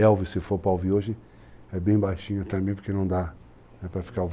Elvis, se for pra ouvir hoje, é bem baixinho também, porque não dá pra ficar ouvindo barulho.